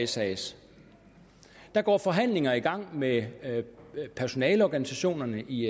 sas der går forhandlinger i gang med personaleorganisationerne i